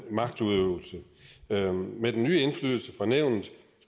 magtudøvelse med den nye indflydelse for nævnet